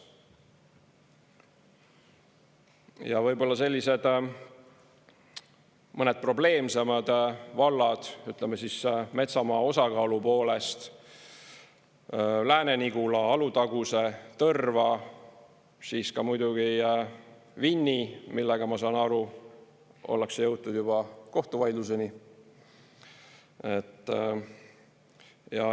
Ja võib-olla mõned probleemsemad vallad, ütleme siis, metsamaa osakaalu poolest: Lääne-Nigula, Alutaguse, Tõrva, ka muidugi Vinni, millega ma saan aru, ollakse jõutud juba kohtuvaidluseni.